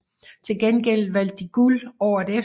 Til gengæld vandt de guld året efter